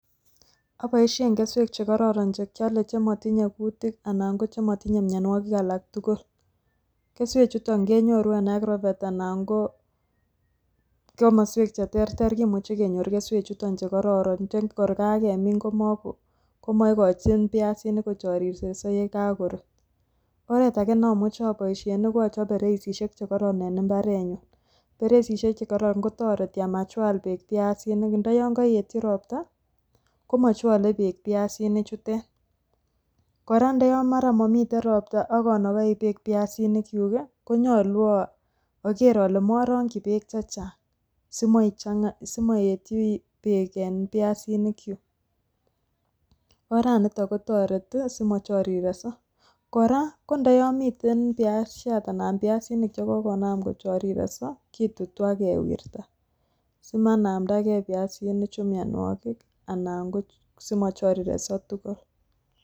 Aboisien keswek chekororon chekyole chemotinye kutik anan ko chemotinye mianwokik alak tugul, keswechuto kenyoru en Agrovert anan ko komoswek cheterter kimuche kenyor keswechuto chekororon tor kakemin komoikochin piasinik kochorireso yekokurut. Oret ake neamuche aboisien ko achop bereisiek chekoron en mbarenyun ,bereisiek chukoron kotoreti amachwal beek piasinik, ndoyon koetyi ropta komochwole beek piasinichutet, kora ndo yon mara momiten ropta akonokoi beek piasinikyuk konyolu akere ale morokyi beek chechang simoetyi beek en piasinikyuk, oranito kotoreti simochorireso, kora ko ndoyomiten piasiat anan piasinik chekokonam kochoriseso kitutu akewirta simanamtake piasinichu mianwokik anango simochorireso tugul.